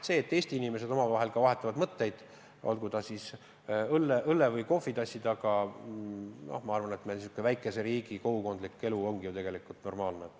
See, et Eesti inimesed vahetavad omavahel mõtteid, olgu õllekruusi või kohvitassi taga – ma arvan, et meil väikeses riigis säärane kogukondlik elu ongi normaalne.